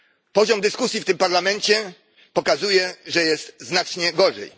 Poziom dyskusji w tym Parlamencie pokazuje, że jest znacznie gorzej.